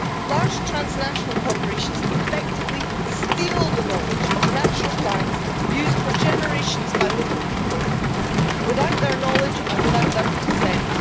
Large transnational corporations effectively steal the knowledge of natural plants used for generations by local people without their knowledge and without their consent.